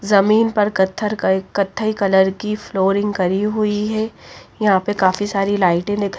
जमीन पर कत्थर कत्थई कलर की फ्लोरिंग करी हुई है यहां पर काफी सारी लाइट दी --